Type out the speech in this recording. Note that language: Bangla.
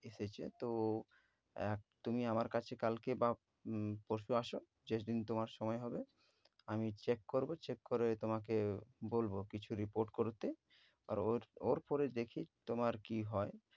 এসেছে। তো এক তুমি আমার কাছে কালকে বা উম পরশু আসো যেদিন তোমার সময় হবে। আমি check করব, check করে তোমাকে বলব কিছু report করতে। আর ওর ওর পরে দেখি তোমার কী হয়।